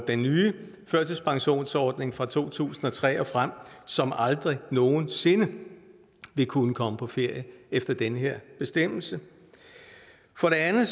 den nye førtidspensionsordning fra to tusind og tre og frem som aldrig nogen sinde vil kunne komme på ferie efter den her bestemmelse for det andet